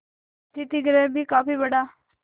अतिथिगृह भी काफी बड़ा